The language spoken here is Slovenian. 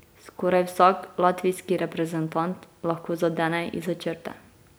Skoraj vsak latvijski reprezentant lahko zadene izza črte.